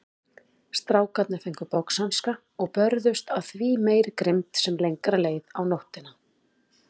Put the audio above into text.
Strákarnir fengu boxhanska og börðust af því meiri grimmd sem lengra leið á nóttina.